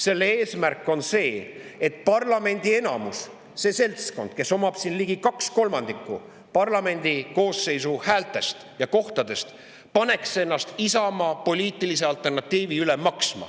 Selle eesmärk on see, et parlamendi enamus, see seltskond, kes omab siin ligi kaht kolmandikku parlamendikoosseisu häältest ja kohtadest, paneks ennast maksma Isamaa poliitilise alternatiivi üle.